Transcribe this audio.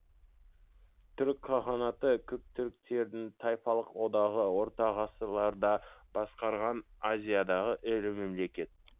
түрік қағанаты көк түріктердің тайпалық одағы орта ғасырларда басқарған азиядағы ірі мемлекет